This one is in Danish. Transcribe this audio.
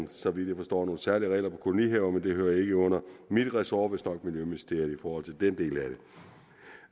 så vidt jeg forstår nogle særlige regler for kolonihaver det hører ikke under mit ressort under miljøministeriet i forhold til den del